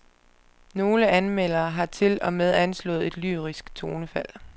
Nogle anmeldere har til og med anslået et lyrisk tonefald.